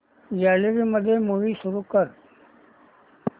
gallery मध्ये movie सुरू कर